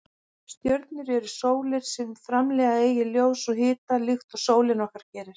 Stjörnur eru sólir sem framleiða eigið ljós og hita líkt og sólin okkar gerir.